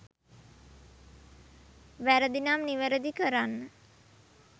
වැරදිනම් නිවැරදි කරන්න.